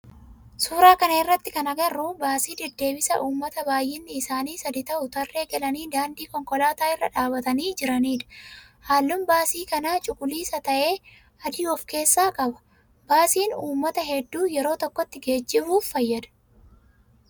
Suuraa kana irratti kana agarru baasii deddeebisa ummataa baayinni isaanii sadi ta'u tarree galanii daandii konkolaataa irra dhaabbatanii jiranidha. Halluun baasii kana cuquliisa ta'ee adii of keessaa qaba. Baasiin ummata heddu yeroo tokkotti geejjibuf fayyada